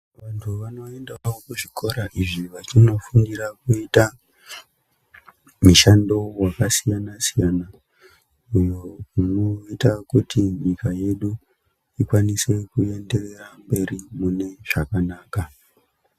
Vantu vanoendawo kuzvikora izvi vachindo fundira kuita mishando wakasiyana siyana iyo unoita kuti nyika yedu ikwanise kuenderera mberi mune zvakanaka.